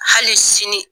Hali sini